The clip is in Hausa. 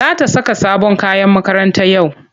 Za ta saka sabon uniform yau.